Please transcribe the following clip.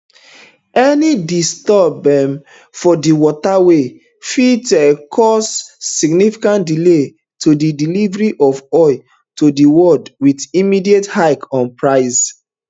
any disturb um for di waterway fit um cause significant delays to di delivery of oil to di world wit immediate hike on prices